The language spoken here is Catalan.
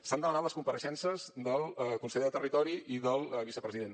s’han demanat les compareixences del conseller de territori i del vicepresident